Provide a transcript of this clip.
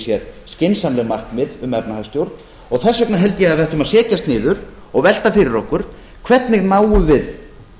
sér skynsamleg markmið um efnahagsstjórn og þess vegna held ég að við ættum að setjast niður og velta fyrir okkur hvernig náum við